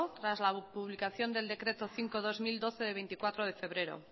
tras la publicación del decreto cinco barra dos mil doce de veinticuatro de febrero